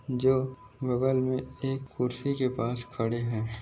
जो बगल में एक कुर्सी के पास खड़े है।